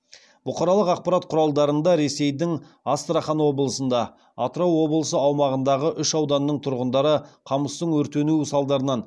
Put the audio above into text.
бұқаралық ақпарат құралдарында ресейдің астрахан облысында атырау облысы аумағындағы үш ауданның тұрғындары қамыстың өртенуі салдарынан